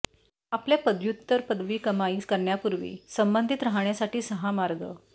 आपल्या पदव्युत्तर पदवी कमाई करण्यापूर्वी संबंधित राहण्यासाठी सहा मार्ग